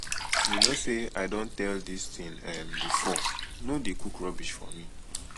you know say i i don tell dis thing um before no dey cook rubbish for me